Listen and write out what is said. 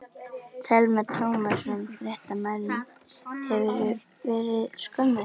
Telma Tómasson, fréttamaður: Hefurðu verið skömmuð?